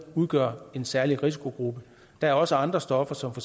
udgør en særlig risikogruppe der er også andre stoffer som